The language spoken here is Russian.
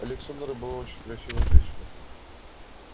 александра была очень красивая женщина